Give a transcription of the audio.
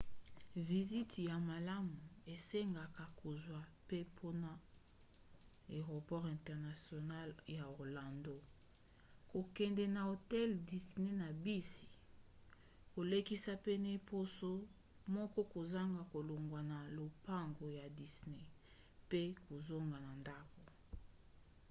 visiti ya malamu esengaka kozwa mpempona aeroport international ya orlando kokende na hotel disney na bisi kolekisa pene ya poso moko kozanga kolongwa na lopango ya disney pe kozonga na ndako